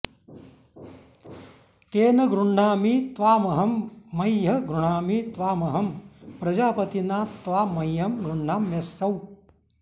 तेन॑ गृह्णामि त्वाम॒हं मह्यं॑ गृह्णामि त्वाम॒हं प्र॒जाप॑तिना त्वा॒ मह्यं॑ गृह्णाम्यसौ